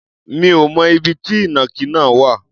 Mi ò mọ ibi tí ìnàkí náà wà.